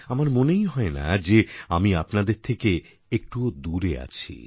আমার মনেই হয় না যে আমি আপনাদের থেকে একটুও দূরে আছি